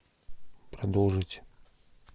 продолжить